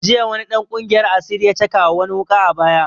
Jiya wani dan ƙungiyar asiri ya cakawa wani wuƙa a baya